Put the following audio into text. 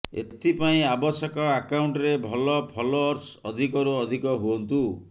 ଏଥିପାଇଁ ଆବଶ୍ୟକ ଆକାଉଂଟରେ ଭଲ ଫଲୋଅର୍ସ ଅଧିକରୁ ଅଧିକ ହୁଅନ୍ତୁ